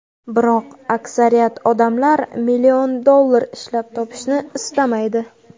Biroq aksariyat odamlar million dollar ishlab topishni istamaydi.